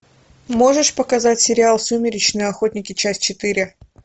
можешь показать сериал сумеречные охотники часть четыре